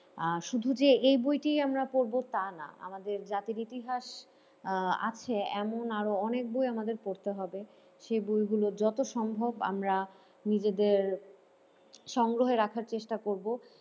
আর শুধু যে এই বইটিই আমরা পড়বো তা না আমাদের জাতির ইতিহাস আছে আহ এমন আরো অনেক বই আমাদের পড়তে হবে সেই বই গুলো যত সম্ভব আমরা নিজেদের সংগ্রহে রাখার চেষ্টা করব।